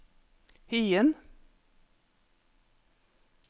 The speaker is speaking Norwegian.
Hyen